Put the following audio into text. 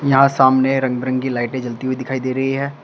यहां सामने रंग बिरंगी लाइटें जलती हुई दिखाई दे रही है।